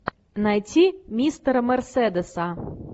найти мистера мерседеса